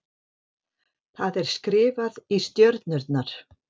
Það er skrifað í stjörnurnar.